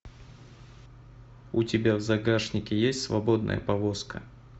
у тебя в загашнике есть свободная повозка